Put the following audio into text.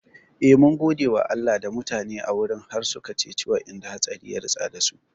Eh, mun gode Allah da mutane a wurin har suka ceci wa'inda hatsari ya ritsa dasu